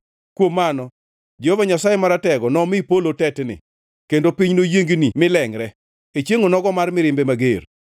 Kuom mano Jehova Nyasaye Maratego nomi polo tetni, kendo piny noyiengni milengʼre; e chiengʼ onogo mar mirimbe mager.